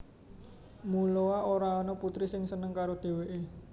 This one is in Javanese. Muloa ora ana putri sing seneng karo dheweke